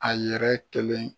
A yɛrɛ kelen